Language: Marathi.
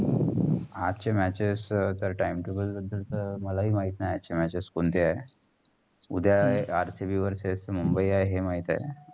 आजची matches तर time table बदल चा मलाही माहित नाही. आजची matches कोणते आहेत? उद्या RCBverses मुम्बई आहे. हे माहित आहे.